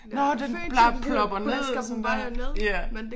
Nåh den bare plopper ned sådan der ja